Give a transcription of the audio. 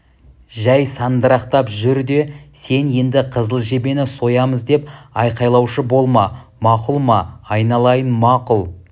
жәй сандырақтап жүр де сен енді қызыл жебені соямыз деп айқайлаушы болма мақұл ма айналайын мақұл